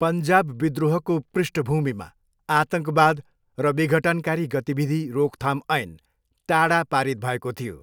पन्जाब विद्रोहको पृष्ठभूमिमा, आतङ्कवाद र विघटनकारी गतिविधि, रोकथाम, ऐन, टाडा, पारित भएको थियो।